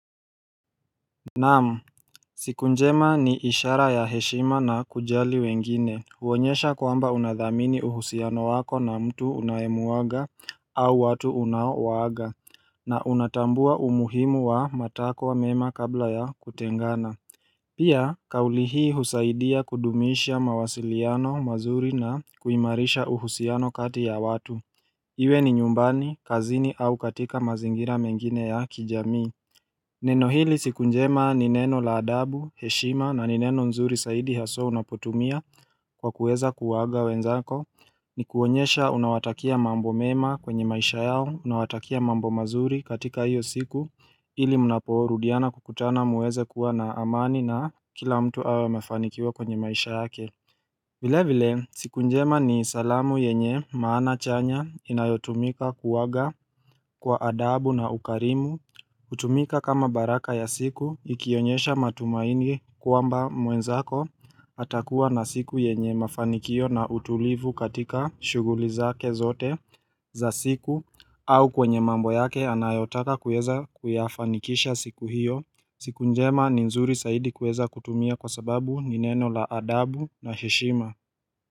Naam, siku njema ni ishara ya heshima na kujali wengine huonyesha kwamba unadhamini uhusiano wako na mtu unayemuaga au watu unaowaaga na unatambua umuhimu wa matakwa mema kabla ya kutengana Pia, kauli hii husaidia kudumisha mawasiliano mazuri na kuimarisha uhusiano kati ya watu Iwe ni nyumbani, kazini au katika mazingira mengine ya kijamii Neno hili siku njema ni neno la adabu, heshima na ni neno nzuri zaidi haswa unapotumia kwa kuweza kuwaaga wenzako ni kuonyesha unawatakia mambo mema kwenye maisha yao, unawatakia mambo mazuri katika hiyo siku ili mnaporudiana kukutana mueze kuwa na amani na kila mtu awe amefanikiwa kwenye maisha yake Vilevile siku njema ni salamu yenye maana chanya inayotumika kuaga kwa adabu na ukarimu hutumika kama baraka ya siku ikionyesha matumaini kwamba mwenzako atakuwa na siku yenye mafanikio na utulivu katika shughuli zake zote za siku au kwenye mambo yake anayotaka kuweza kuyafanikisha siku hiyo siku njema ni nzuri zaidi kuweza kutumia kwa sababu ni neno la adabu na heshima.